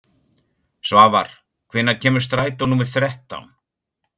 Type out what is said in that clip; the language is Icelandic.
Svafar, hvenær kemur strætó númer þrettán?